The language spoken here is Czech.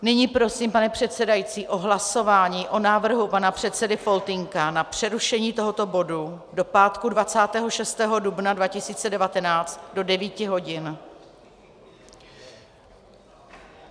Nyní prosím, pane předsedající, o hlasování o návrhu pana předsedy Faltýnka na přerušení tohoto bodu do pátku 26. dubna 2019 do 9 hodin.